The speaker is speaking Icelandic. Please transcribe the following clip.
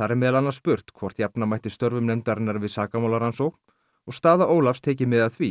þar er meðal annars spurt hvort jafna mætti störfum nefndarinnar við sakamálarannsókn og staða Ólafs tekið mið af því